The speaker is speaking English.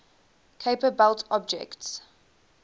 kuiper belt objects